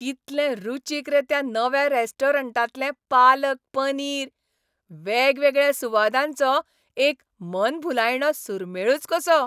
कितलें रुचीक रे त्या नव्या रेस्टॉरंटांतलें पालक पनीर. वेगवेगळ्या सुवादांचो एक मनभुलायणो सुरमेळच कसो!